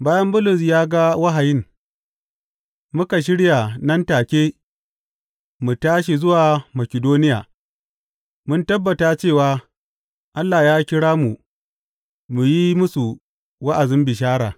Bayan Bulus ya ga wahayin, muka shirya nan take mu tashi zuwa Makidoniya, mun tabbata cewa, Allah ya kira mu mu yi musu wa’azin bishara.